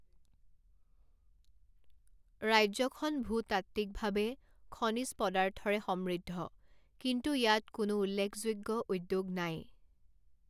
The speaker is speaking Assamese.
ৰাজ্যখন ভূতাত্ত্বিকভাৱে খনিজ পদাৰ্থৰে সমৃদ্ধ, কিন্তু ইয়াত কোনো উল্লেখযোগ্য উদ্যোগ নাই।